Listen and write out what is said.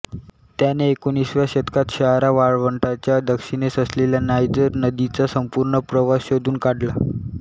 त्याने एकोणिसाव्या शतकात सहारा वाळवंटाच्या दक्षिणेस असलेल्या नायजर नदीचा संपूर्ण प्रवाह शोधून काढला